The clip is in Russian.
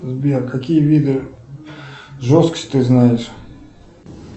сбер какие виды жесткости ты знаешь